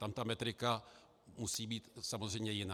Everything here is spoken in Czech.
Tam ta metrika musí být samozřejmě jiná.